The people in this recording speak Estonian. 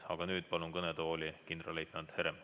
Aga nüüd palun kõnetooli kindralleitnant Heremi.